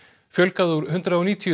fjölgað úr hundrað og níutíu